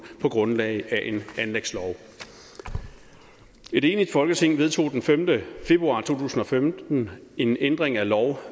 på grundlag af en anlægslov et enigt folketing vedtog den femte februar to tusind og femten en ændring af lov